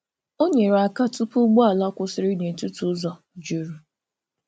Ọ nyerè aka tụ̀pụ̀ ụgbọ̀ala kwụsịrị n’etiti ụzọ jurù.